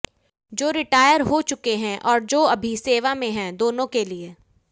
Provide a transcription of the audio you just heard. जो रिटायर हो चुके हैं और जो अभी सेवा में हैं दोनों के लिए